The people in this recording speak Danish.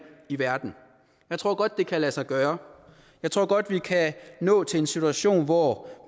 i verden og jeg tror godt det kan lade sig gøre jeg tror godt vi kan nå til en situation hvor